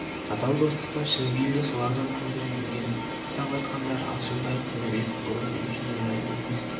адал достықты шын бейілді солардан көрдім деген атап айтқандары алшынбай тінібек бұрын үй ішіне мәлім емес